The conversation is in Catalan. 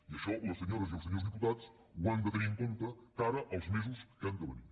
i això les senyores i els senyors diputats ho han de tenir en compte de cara als mesos que han de venir